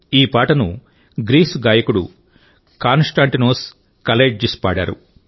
ఈ పాటను గ్రీస్ గాయకుడు కాన్ స్టాంటినోస్ కలైట్జిస్ పాడారు